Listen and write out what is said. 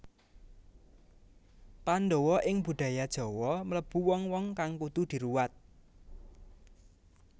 Pandhawa ing budaya Jawa mlebu wong wong kang kudu diruwat